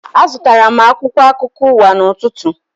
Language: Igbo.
Azụtara m akwụkwọ akụkọ ụwa n'ụtụtụ